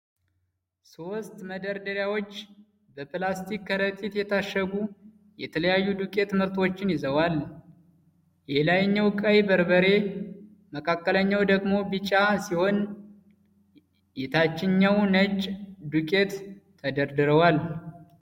ሦስት መደርደሪያዎች በፕላስቲክ ከረጢት የታሸጉ የተለያዩ ዱቄት ምርቶችን ይዘዋል። የላይኛው ቀይ በርበሬ፣ መካከለኛው ደግሞ ቢጫ ሲሆን፣ የታችኛው ነጭ ዱቄት ተደርድረዋል።